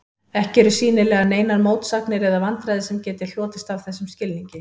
Ekki eru sýnilega neinar mótsagnir eða vandræði sem geti hlotist af þessum skilningi.